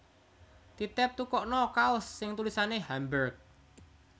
Titip tukokno kaos sing tulisane Hamburg